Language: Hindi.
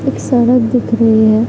एक सड़क दिख रही है।